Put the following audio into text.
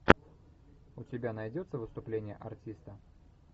у тебя найдется выступление артиста